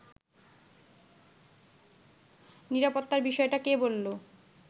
“নিরাপত্তার বিষয়টা কে বলল